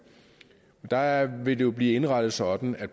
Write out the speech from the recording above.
der vil det jo blive indrettet sådan at